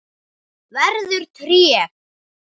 Verður tré.